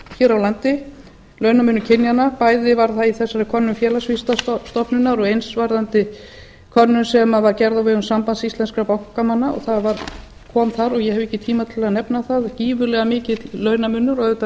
hér á landi launamunur kynjanna bæði var það í þessari könnun félagsvísindastofnunar og eins varðandi könnun sem var gerð á vegum sambands íslenskum bankamanna og það kom þar og ég hef ekki tíma til að nefna það gífurlega mikill launamunur og auðvitað